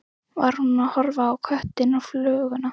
Var hún að horfa á köttinn og fluguna?